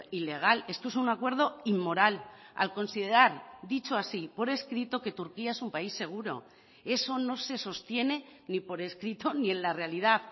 ilegal esto es un acuerdo inmoral al considerar dicho así por escrito que turquía es un país seguro eso no se sostiene ni por escrito ni en la realidad